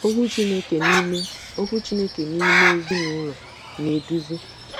Okwu Chineke n’ime Okwu Chineke n’ime Ezinụlọ na-eduzi